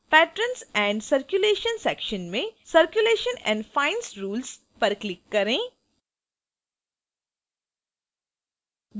patrons and circulation section में circulation and fines rules पर click करें